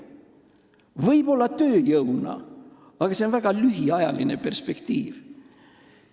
Võib-olla tööjõuna, aga see on väga lühiajaline perspektiiv.